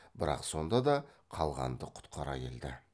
бірақ сонда да қалғанды құтқара келді